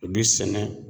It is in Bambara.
U bi sɛnɛ